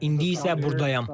İndi isə burdayam.